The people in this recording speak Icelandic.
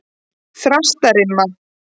Þrastarima